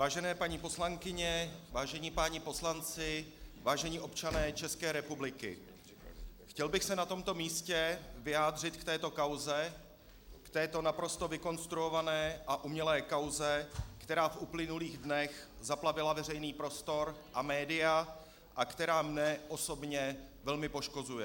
Vážené paní poslankyně, vážení páni poslanci, vážení občané České republiky, chtěl bych se na tomto místě vyjádřit k této kauze, k této naprosto vykonstruované a umělé kauze, která v uplynulých dnech zaplavila veřejný prostor a média a která mne osobně velmi poškozuje.